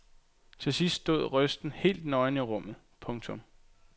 Til sidst stod røsten helt nøgen i rummet. punktum